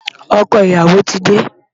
Ọkọ ìyàwó ti dé.